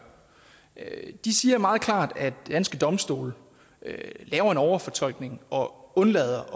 de siger meget klart at danske domstole laver en overfortolkning og undlader